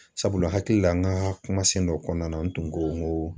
Sabula hakili la n ka kumasen dɔ kɔnɔna na n tun ko n ko